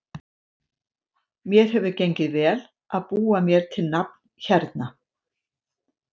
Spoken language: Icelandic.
Mér hefur gengið vel og búið mér til nafn hérna.